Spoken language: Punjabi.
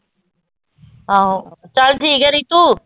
ਆਹੋ ਚੱਲ ਠੀਕ ਹੈ ਰਿਤੂ।